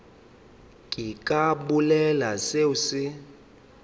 ke ka bolela seo se